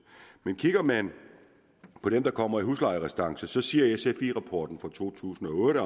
kigger man på dem der kommer i huslejerestance siger sfi rapporten fra to tusind og otte